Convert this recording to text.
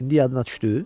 İndi yadına düşdü?